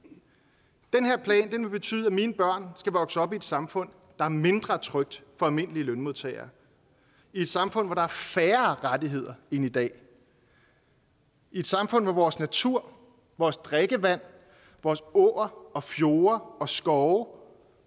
den vil betyde at mine børn skal vokse op i et samfund der er mindre trygt for almindelige lønmodtagere i et samfund hvor der er færre rettigheder end i dag i et samfund hvor vores natur vores drikkevand vores åer og fjorde og skove